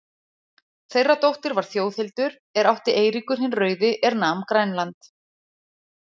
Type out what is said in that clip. Þeirra dóttir var Þjóðhildur, er átti Eiríkur hinn rauði, er nam Grænland.